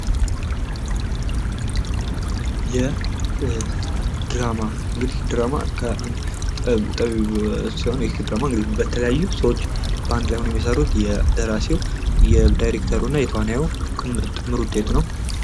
የድራማ፦ ድራማ እንግድህ የተለያዩ ሰዎች በአንድ ላይ ሆነው የሚሰሩት የደራሲው፥ የዳይሬክተሩ፥ እና የተዋናዩ ድምር ውጤት ነው።